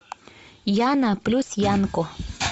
яна плюс янко